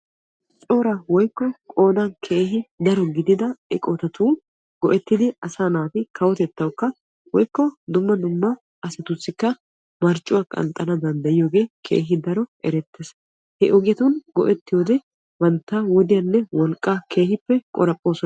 Cora woykko qoodan keehin daro gidida eqotatun go"ettidi asaa naati kawotettawukka woykko dumma dumma asatussikka marccuwaa qanxxanawu dandayiyoogee keehi erettees. he ogetun go"ettiyoo wode bantta wodiyaanne wolqqaa keehippe qoraphphoosona.